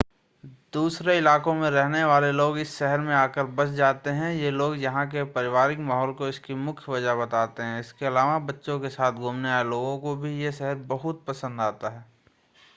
दूसरे इलाकों में रहने वाले लोग इस शहर में आकर बस जाते हैं ये लोग यहां के पारिवारिक माहौल को इसकी मुख्य वजह बताते हैं इसके अलावा बच्चों के साथ घूमने आए लोगों को भी यह शहर बहुत पसंद आता है